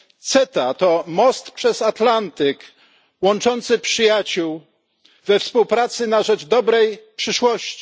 CETA to most przez Atlantyk łączący przyjaciół we współpracy na rzecz dobrej przyszłości.